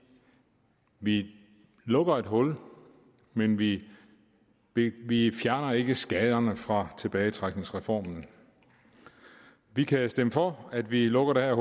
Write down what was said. at vi lukker et hul men vi vi fjerner ikke skaderne fra tilbagetrækningsreformen vi kan stemme for at vi lukker det her